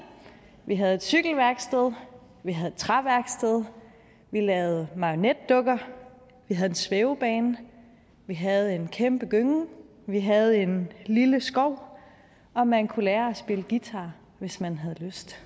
vi havde et cykelværksted vi havde et træværksted vi lavede marionetdukker vi havde en svævebane vi havde en kæmpe gynge vi havde en lille skov og man kunne lære at spille guitar hvis man havde lyst